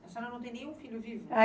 A senhora não tem nenhum filho vivo?